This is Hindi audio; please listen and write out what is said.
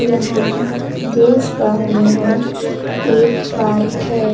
यहां देख पा रही हूं एक पार्क है।